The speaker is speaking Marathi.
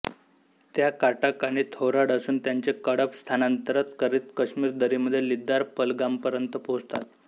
त्या काटक आणि थोराड असून त्यांचे कळप स्थानांतर करीत काश्मीर दरीमध्ये लिद्दार पहलगामपर्यंत पोहोचतात